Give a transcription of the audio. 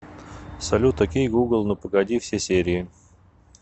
салют о кей гугл ну погоди все серии